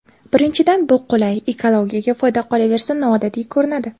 Birinchidan bu qulay, ekologiyaga foyda, qolaversa, noodatiy ko‘rinadi.